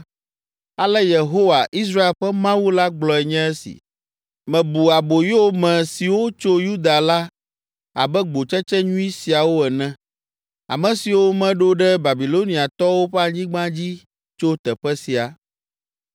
“Ale Yehowa, Israel ƒe Mawu la gblɔe nye esi, ‘Mebu aboyome siwo tso Yuda la abe gbotsetse nyui siawo ene, ame siwo meɖo ɖe Babiloniatɔwo ƒe anyigba dzi tso teƒe sia.